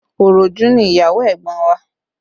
Òròjú ni ìyàwó ẹ̀gbọ́n wa